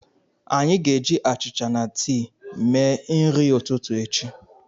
Anyị ga-eji achịcha na tii mee nri ụtụtụ echi.